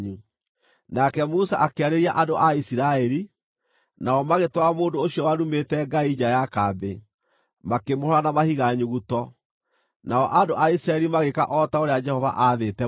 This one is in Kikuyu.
Nake Musa akĩarĩria andũ a Isiraeli, nao magĩtwara mũndũ ũcio warumĩte Ngai nja ya kambĩ, makĩmũhũũra na mahiga nyuguto. Nao andũ a Isiraeli magĩĩka o ta ũrĩa Jehova aathĩte Musa.